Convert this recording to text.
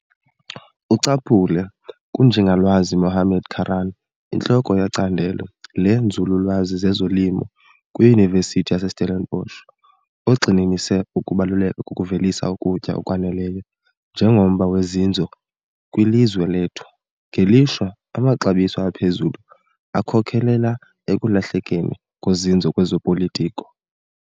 Ucaphule kuNjingalwazi Mohammad Karaan, intloko yeCandelo leeNzululwazi zezoLimo kwiYunivesithi yaseStellenbosch, ogxininise ukubaluleka kokuvelisa ukutya okwaneleyo njengomba wozinzo kwilizwe lethu. Ngelishwa, amaxabiso aphezulu akhokelela ekulahlekeni kozinzo kwezopolitiko.